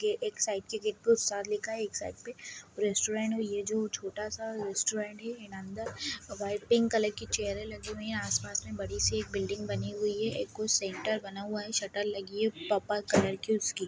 ये एक साइड के गेट पे उत्सव लिखा है एक साइड पे रेस्टोरेंट ये जो छोटा सा रेस्टोरेंट है एंड अंदर वाइ पिंक कलर की चेयरें लगी हुई है आस-पास में बड़ी सी एक बिल्डिंग बनी हुई है एक कोई सेंटर बना हुआ है शटर लगी है पर्पल कलर की उसकी।